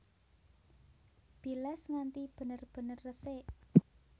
Bilas nganti bener bener resik